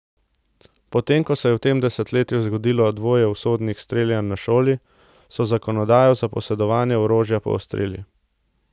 Potem ko se je v tem desetletju zgodilo dvoje usodnih streljanj na šoli, so zakonodajo za posedovanje orožja poostrili.